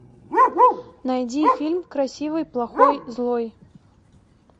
найди фильм красивый плохой злой